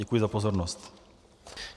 Děkuji za pozornost.